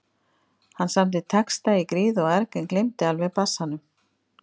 Hann samdi texta í gríð og erg en gleymdi alveg bassanum.